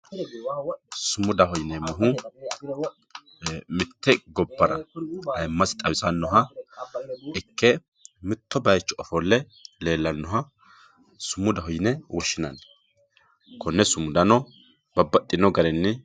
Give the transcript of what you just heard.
sumudaho yineemmohu mitte gobbara aymasi xawisannoha ikke mitto baycho ofolle leellannoha sumudaho yine woshshinanni konne sumudano babbaxxino garinni